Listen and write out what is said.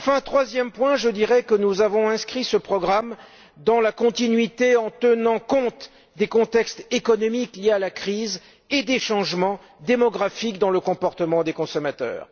Troisièmement, je dirais que nous avons inscrit ce programme dans la continuité en tenant compte des contextes économiques liés à la crise et des changements démographiques dans le comportement des consommateurs.